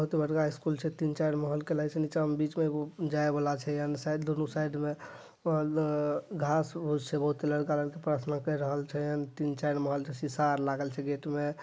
बहुत बड़का स्कूल छै तीन-चार महल के लागे छै नीचा में बीच में एगो जाय वाला छै एने साइड दुनु साइड में और अ घास उस बहुत लड़का-लड़की प्रार्थना कर रहल छै एने तीन-चार महल छै सीसा आर लागल छै गेट में।